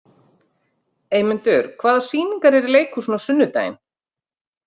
Eymundur, hvaða sýningar eru í leikhúsinu á sunnudaginn?